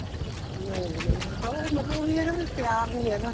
ਨਹੀਂ ਜੀ ਨਹੀਂ ਹੁਣ ਤਾਂ ਉਹ ਮਤਲਬ ਈ ਏ ਨਾ ਵੀ ਪਿਆਰ ਨੀਂ ਹੈਗਾ